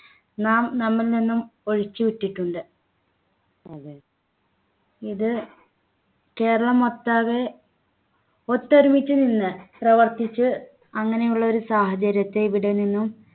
നാം നമ്മിൽ നിന്നും ഒഴിച്ചു വിട്ടിട്ടുണ്ട് ഇത് കേരളമൊട്ടാകെ ഒത്തൊരുമിച്ച് നിന്ന് പ്രവർത്തിച്ച അങ്ങനെയുള്ള ഒരു സാഹചര്യത്തെ ഇവിടെ നിന്നും